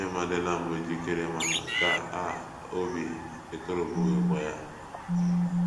Nne m adịla mbụ jikere maka nke a a, obi ekoropụghịkwa ya.